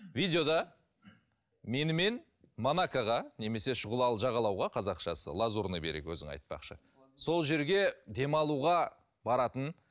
видеода менімен монакаға немесе шұғылалы жағалауға қазақшасы лазурный берег өзің айтпақшы сол жерге демалуға баратын